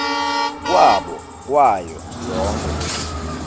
kwabo kwayo yonkhe